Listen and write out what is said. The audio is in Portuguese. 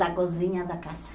Da cozinha da casa.